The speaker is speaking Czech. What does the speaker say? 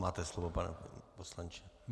Máte slovo, pane poslanče.